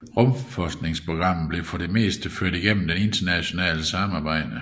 Rumfartsprogrammet bliver for det meste ført igennem det internationale samarbejde